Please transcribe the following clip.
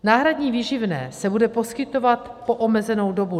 Náhradní výživné se bude poskytovat po omezenou dobu.